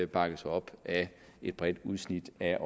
bakkes op af et bredt udsnit af